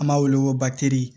An b'a wele ko